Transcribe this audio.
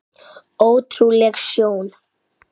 Ótrúleg sjón.